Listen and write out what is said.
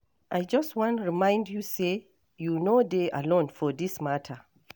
I just wan remind you say you no dey alone for this matter.